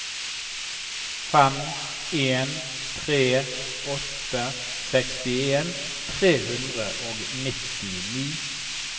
fem en tre åtte sekstien tre hundre og nittini